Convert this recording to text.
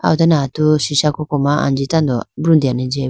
ah ho done atu sisha koko ma anji tando brutene jya bo.